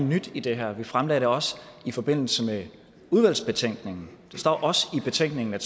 nyt i det her vi fremlagde det også i forbindelse med udvalgsbetænkningen det står også i betænkningen at